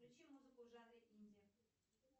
включи музыку в жанре инди